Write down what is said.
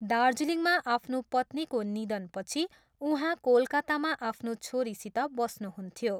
दार्जिलिङमा आफ्नो पत्नीको निधनपछि उहाँ कोलकातामा आफ्नो छोरीसित बस्नुहुन्थ्यो।